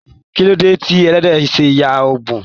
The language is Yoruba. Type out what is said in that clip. Kilode tí ẹlẹdẹ ṣe yà ọbun?